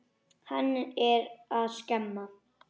Hann er að skemma.